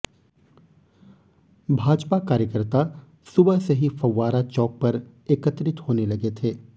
भाजपा कार्यकर्ता सुबह से ही फव्वारा चैक पर एकत्रित होने लगे थे